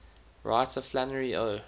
writer flannery o